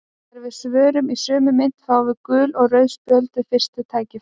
Þegar við svörum í sömu mynt fáum við gul og rauð spjöld við fyrsta tækifæri.